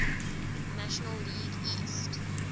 national league east